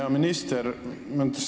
Hea minister!